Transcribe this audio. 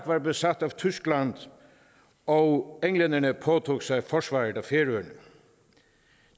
var besat af tyskland og englænderne påtog sig forsvaret af færøerne